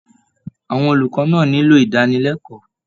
Àwọn olùkọ́ náà nílò ìdánilẹ́kọ̀ọ́